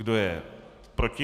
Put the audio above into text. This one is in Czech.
Kdo je proti?